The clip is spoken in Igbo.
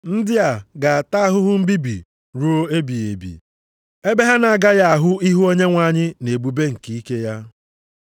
Ndị a ga-ata ahụhụ mbibi ruo ebighị ebi, ebe ha na-agaghị ahụ ihu Onyenwe anyị na ebube nke ike ya,